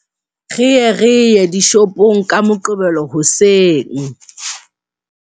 Re ye re ye dishopong ka Moqebelo hoseng.